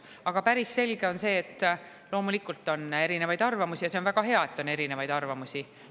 Aga päris selge on see, et loomulikult on erinevaid arvamusi, ja see on väga hea, et on erinevaid arvamusi.